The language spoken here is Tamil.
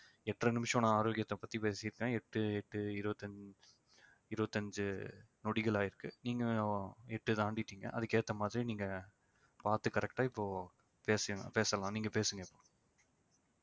எட்டரை நிமிஷம் நான் ஆரோக்கியத்தை பத்தி பேசிருக்கேன் எட்டு எட்டு இருபத்தஞ்சு இருபத்தஞ்சு நொடிகள் ஆயிருக்கு நீங்களும் எட்டு தாண்டிட்டிங்க அதுக்கு ஏத்த மாதிரி நீங்க பாத்து correct ஆ இப்போ பேச~ பேசலாம் நீங்க பேசுங்க இப்போ